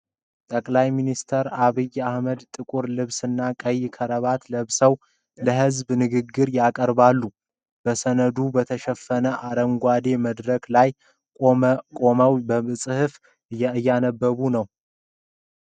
ጠቅላይ ሚኒስትር ዐብይ አህመድ ጥቁር ልብስና ቀይ ክራባት ለብሰው ለሕዝብ ንግግር ያቀርባሉ። በሰነዶች በተሸፈነ አረንጓዴ መድረክ ላይ ቆመው በጽሑፍ እያነበቡ ነው።